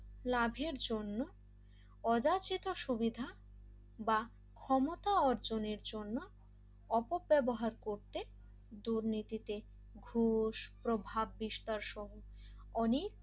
লাভের জন্য অযাচিত সুবিধা বা ক্ষমতা অর্জনের জন্য অপব্যবহার করতে দুর্নীতিতে ঘুষ প্রভাব বিস্তার সহ অনেক